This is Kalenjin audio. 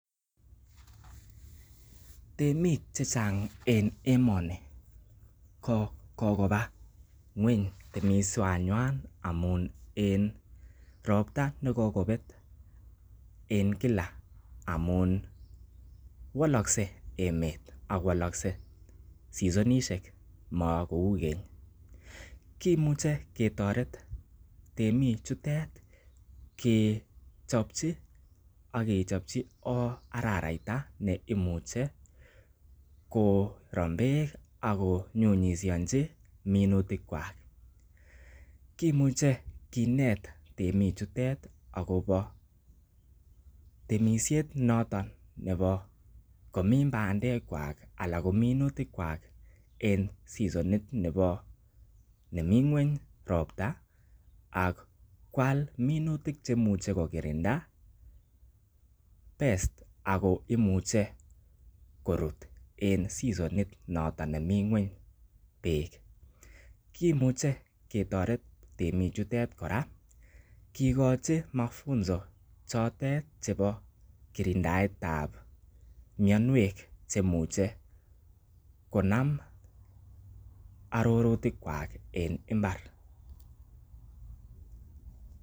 Temik che chang en emoni ko kogoba temisienywan amun en ropta ne kokobet en kila amun wolokse emet ak wolokse seasonishek makou keny. Kimuchi ketoret temik chutet kechopchi ak kechopchi araraita neimuche korom beek ak ko nyunyisiachi minutikwak. Kimuche kinet temichutet agobo temisiet noton nebo komin bandekwak anan komin minutik kwak en seasonit nebo nemi ng'weny ropta ak kwal minutik che imuche kokirinda pests ago imuche korut en seasonit notoon nemi ng'weny beit. Kimuche ketoret temik chutet kora kigochi mafunzo chotet chebo kirindaet ab minawek chemuche konam arorutikwak en mbar.